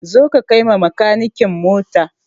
Zo ka kai ma makanikin mota!